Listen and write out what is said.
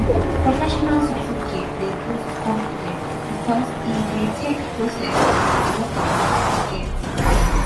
professional certificate dey boost confidence because e dey take process and alot of work to get